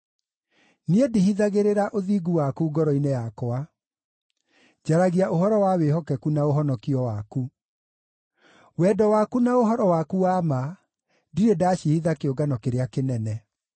Niĩ ndihithagĩrĩra ũthingu waku ngoro-inĩ yakwa; njaragia ũhoro wa wĩhokeku na ũhonokio waku. Wendo waku na ũhoro waku wa ma ndirĩ ndacihitha kĩũngano kĩrĩa kĩnene.